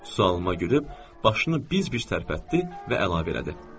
Sualıma gülüb başını biz-biz tərpətdi və əlavə elədi.